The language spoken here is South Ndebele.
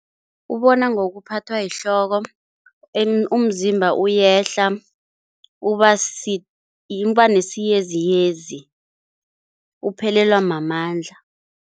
Ubona ngokuphathwa yihloko, umzimba uyehla, uba nesiyeziyezi, uphelelwa mamandla.